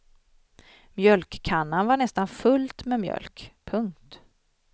Mjölkkannan var nästan fullt med mjölk. punkt